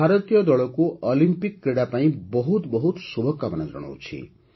ମୁଁ ଭାରତୀୟ ଦଳକୁ ଅଲିମ୍ପିକ୍ କ୍ରୀଡ଼ା ପାଇଁ ବହୁତ ବହୁତ ଶୁଭକାମନା ଜଣାଉଛି